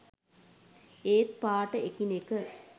ඒත් පාට එකිනෙක